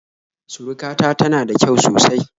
Surukata tana da kyau sosai